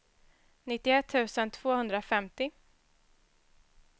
nittioett tusen tvåhundrafemtio